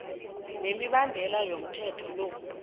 nemibandela yomthetho lo